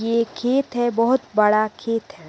ये एक खेत है बहुत बड़ा खेत है।